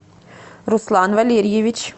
руслан валерьевич